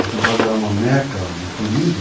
A cidade era uma meca de turismo.